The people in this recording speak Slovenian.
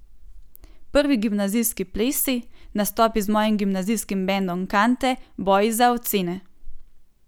Prvi gimnazijski plesi, nastopi z mojim gimnazijskim bendom Kante, boji za ocene.